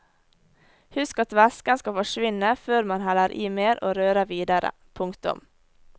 Husk at væsken skal forsvinne før man heller i mer og rører videre. punktum